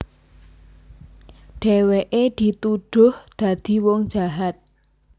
Dhèwèké dituduh dadi wong jahat